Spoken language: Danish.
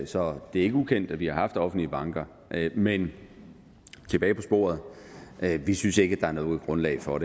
så det er ikke ukendt at vi har haft offentlige banker men tilbage på sporet vi synes ikke at der er noget grundlag for